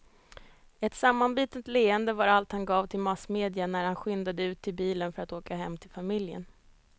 Ett sammanbitet leende var allt han gav till massmedia när han skyndade ut till bilen för att åka hem till familjen.